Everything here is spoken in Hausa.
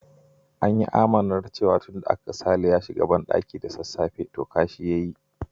An yi amannar cewa tun aka ga Sale ya shiga bandaki da sassafe, to kashi ya yi.